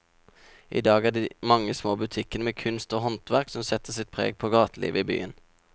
I dag er det de mange små butikkene med kunst og håndverk som setter sitt preg på gatelivet i byen.